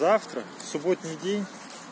завтра субботний день